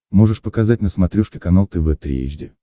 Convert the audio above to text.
можешь показать на смотрешке канал тв три эйч ди